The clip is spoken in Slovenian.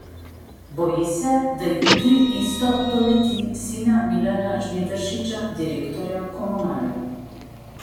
Boji se, da jutri isto doleti sina Milana Žnidaršiča, direktorja Komunale.